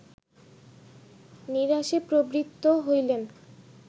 নিরাসে প্রবৃত্ত হইলেন